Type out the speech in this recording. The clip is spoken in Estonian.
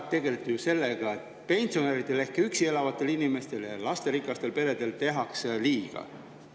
Te tegelete kogu aeg ju sellega, et pensionäridele –, kes elavad üksi – ja lasterikastele peredele tehtaks liiga.